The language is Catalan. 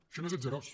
això no és atzarós